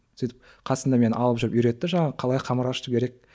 сөйтіп қасына мені алып жүріп үйретті жаңағы қалай қамыр ашыту керек